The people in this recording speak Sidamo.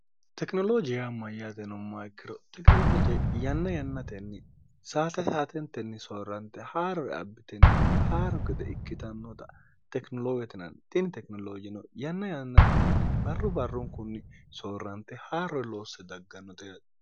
tekinoloojiyaa mayyaateno mayikkiro tekinolooje yanna yannatenni saate haatentenni soorrante haarore abbitenna haaro gede ikkitannota tekinoloowetinanni xini tekinoloojino yanna yannantenni barru barrunkunni soorrante haa'ror loosse daggannote hate